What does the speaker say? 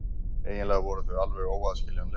Eiginlega voru þau alveg óaðskiljanleg.